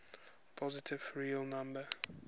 positive real number